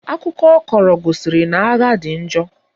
Akụkọ ọ kọrọ gosiri na agha dị njọ